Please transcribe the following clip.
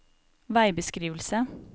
veibeskrivelse